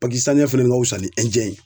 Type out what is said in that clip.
fana ka wusa ni ye